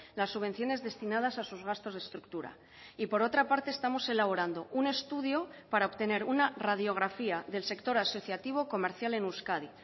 las subvenciones destinadas a sus gastos de estructura y por otra parte estamos elaborando un estudio para obtener una radiografía del sector asociativo comercial en euskadi